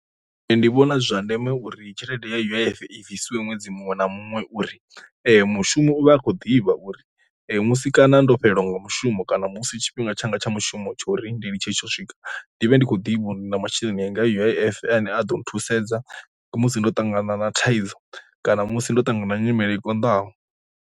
Nṋe ndi vhona zwi zwa ndeme uri tshelede ya U_I_F i bvisiwa ṅwedzi muṅwe na muṅwe uri mushumo u vha a khou ḓivha uri musi kana ndo fhelelwa nga mushumo kana musi tshifhinga tsha nga tsha mushumo tshori ndi ḽi tshe tsho swika, ndi vhe ndi kho ḓi vhunzhi na masheleni anga U_I_F ane a ḓo thusedza musi ndo ṱangana na thaidzo kana musi ndo ṱangana nyimele i konḓaho.